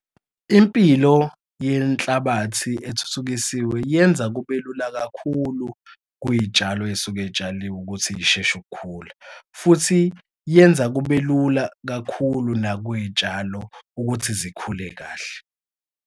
Impilo yenhlabathi ethuthukisiwe yenza kube lula kakhulu kwiy'tshalo ey'suke y'tshaliwe ukuthi y'sheshe ukukhula. Futhi yenza kube lula kakhulu nakwiy'tshalo ukuthi zikhule kahle.